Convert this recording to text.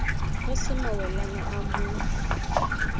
re se mawelana o mo